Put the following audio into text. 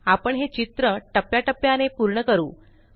आपण हे चित्र टप्प्या टप्प्याने पूर्ण करू